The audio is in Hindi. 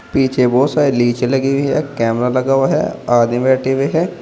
पीछे बहुत सारे लगी हुई है कैमरा लगा हुआ है आदमी बैठे हुए हैं।